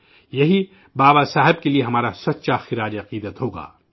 یہی بابا صاحب امبیڈکر کے لیے ہمارا حقیقی خراج عقیدت ہوگا